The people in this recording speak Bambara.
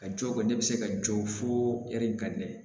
A jɔ kɔni ne bɛ se ka jɔ fo hɛri ka nɛgɛ